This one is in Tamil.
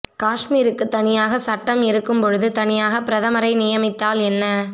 காஷ்மீருக்கு தனியாக சட்டம் இருக்கும் பொழுது தனியாக பிரதமரை நியமித்தால் என்ன